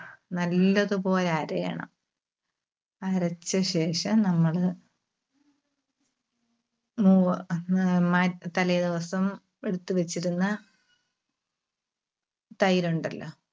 നല്ലതുപോലെ അരയണം. അരച്ചശേഷം നമ്മള് തലേദിവസം എടുത്തുവെച്ചിരുന്ന തൈര് ഉണ്ടല്ലോ